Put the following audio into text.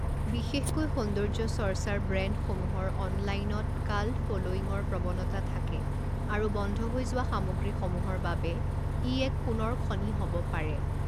বিশেষকৈ সৌন্দৰ্য্য চৰ্চাৰ ব্ৰেণ্ডসমূহৰ অনলাইনত কাল্ট ফ'ল'য়িঙৰ প্ৰৱণতা থাকে, আৰু বন্ধ হৈ যোৱা সামগ্ৰীসমূহৰ বাবে ই এক সোণৰ খনি হ'ব পাৰে।